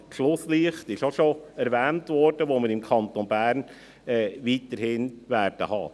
Das Schlusslicht – dies wurde auch schon erwähnt – werden wir weiterhin im Kanton Bern haben.